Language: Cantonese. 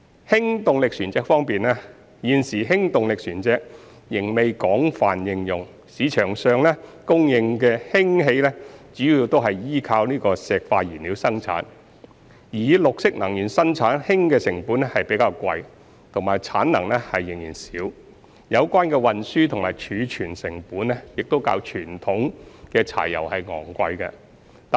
氫動力船隻方面，現時氫動力船隻仍未廣泛應用，市場上供應的氫氣主要是倚靠化石燃料生產，而以綠色能源生產氫的成本較貴及產能仍少，有關的運輸及儲存成本亦較傳統柴油昂貴。